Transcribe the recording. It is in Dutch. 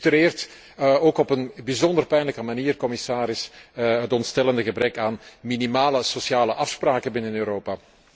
Het illustreert ook op een bijzonder pijnlijke manier, commissaris, het ontstellende gebrek aan minimale sociale afspraken binnen Europa.